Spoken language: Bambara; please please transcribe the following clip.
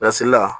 Lasigi la